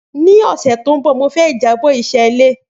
Ni ọsẹ to nbọ Mo fẹ ijabọ iṣẹ ile